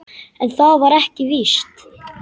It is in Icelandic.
En það var ekki víst.